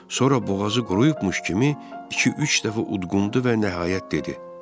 Sonra boğazı quruyubmuş kimi iki-üç dəfə udqundu və nəhayət dedi.